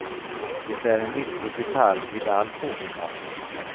Det är en viktig detalj vid all fågelmatning.